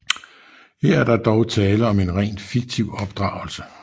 Her er der dog tale om en rent fiktiv opdragelse